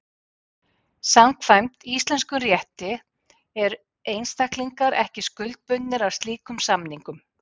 Samkvæmt íslenskum rétti eru einstaklingar ekki skuldbundnir af slíkum samningum.